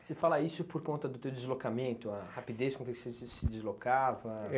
Você fala isso por conta do teu deslocamento, a rapidez com que você se se se deslocava?